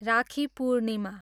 राखी पूर्णिमा